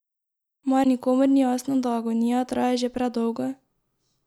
Mar nikomur ni jasno, da agonija traja že predolgo?